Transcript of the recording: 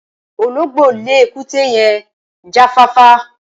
Ológbó le èkúté yen jafáfá